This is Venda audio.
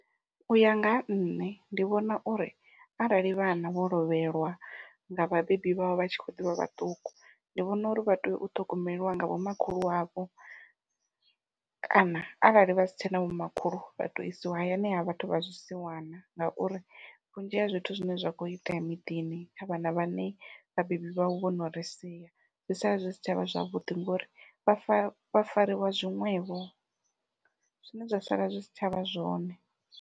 Uya nga ha nṋe ndi vhona uri arali vhana vho lovhelwa nga vhabebi vhavho vha tshi kho ḓivha vhaṱuku, ndi vhona uri vha tea u ṱhogomeliwa nga vhomakhulu wavho, kana arali vha si tshena vhomakhulu vha tou isiwa hayani ha vhathu vha zwisiwana ngauri vhunzhi ha zwithu zwine zwa kho itea miḓini kha vhana vhane vhabebi vhavho vhono ri sia zwi sala zwi si tshavha zwavhuḓi ngori vhafa vha fariwa zwiṅwevho zwine zwa sala zwi si tshavha zwone.